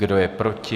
Kdo je proti?